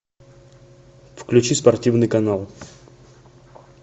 включи спортивный канал